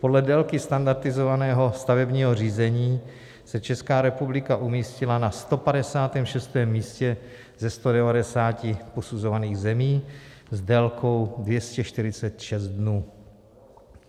Podle délky standardizovaného stavebního řízení se Česká republika umístila na 156. místě ze 190 posuzovaných zemí s délkou 246 dnů.